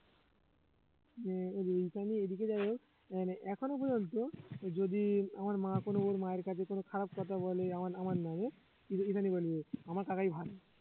হ্যাঁ ঈশানী এদিকে যাই হোক মানে এখন পর্যন্ত যদি আমার মা কোন ওর মায়ের কাছে কোন খারাপ কথা বলে আমার~ আমার নামে ঈশানী~ ঈশানী বলবে আমার কাকাই ভালো